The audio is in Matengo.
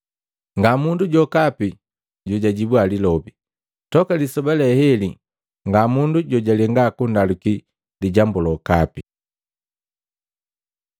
Ngamundu jokapi jojajibua lilobi. Toka lisoba leheli ngamundu jojalenga kundaluki lijambu lokapi.